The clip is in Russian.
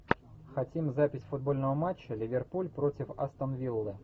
хотим запись футбольного матча ливерпуль против астон виллы